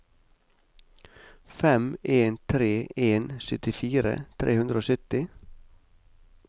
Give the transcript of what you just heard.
fem en tre en syttifire tre hundre og sytti